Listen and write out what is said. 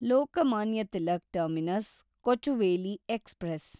Lokmanya Tilak terminus Kochuveli express